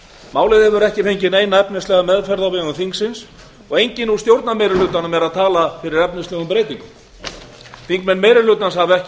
málið hefur ekki fengið neina efnislega meðferð á vegum þingsins og í raun er enginn úr stjórnarmeirihlutanum að tala fyrir efnislegum breytingum þingmenn meiri hlutans hafa ekki